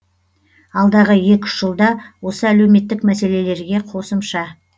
алдағы екі үш жылда осы әлеуметтік мәселелерге қосымша